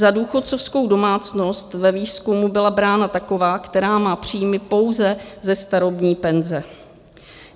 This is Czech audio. Za důchodcovskou domácnost ve výzkumu byla brána taková, která má příjmy pouze ze starobní penze.